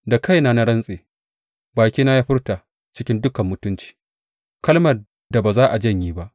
Da kaina na rantse, bakina ya furta cikin dukan mutunci kalmar da ba za a janye ba.